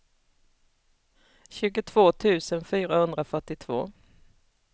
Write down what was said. tjugotvå tusen fyrahundrafyrtiotvå